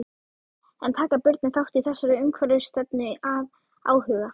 En taka börnin þátt í þessari umhverfisstefnu af áhuga?